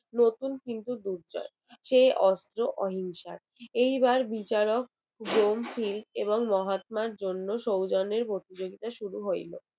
নতুন কিন্তু দুর্জয় সেই অস্ত্র অহিংসার এইবার বিচারক মহাত্মার সৌজন্য প্রতিযোগিতার শুরু হইল